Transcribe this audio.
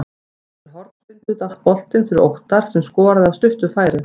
Eftir hornspyrnu datt boltinn fyrir Óttar sem skoraði af stuttu færi.